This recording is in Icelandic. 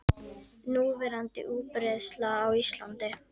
Núverandi útbreiðsla á Íslandi